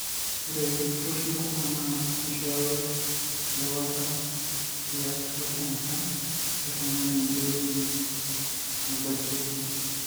ore iltururi kumok na kishoyo erewata tiatu enkang oltungani oweuji nebakieki